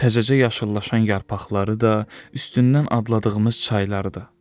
Təzəcə yaşıllaşan yarpaqları da, üstündən adladığımız çayları da.